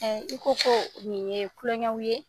i ko koo nin ye kulɔŋɛw ye.